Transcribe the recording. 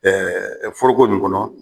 Ɛɛ foroko nin kɔnɔ